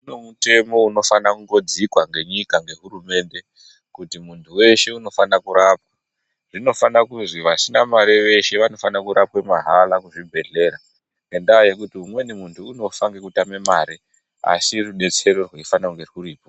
Kune mutemo unofana kungodzikwa ngenyika ne hurumende kuti muntu weshe unofana kurapwa. Zvinofana kuzi vasina mare veshe vanofana kurapwa mahala muzvibhehlera ngekuti umweni muntu unofa ngekutama mare asi rudetsero rweifana kunge rwuripo.